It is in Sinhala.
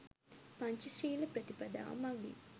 පංචශීල ප්‍රතිපදාව මඟින්